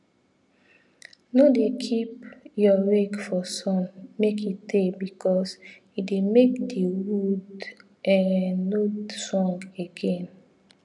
no dey keep your rake for sun make e tey because e dey make the wood um no strong again